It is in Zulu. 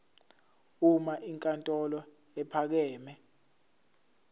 uma inkantolo ephakeme